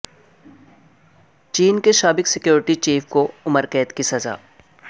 چین کے سابق security chief کو عمر قید کی سزا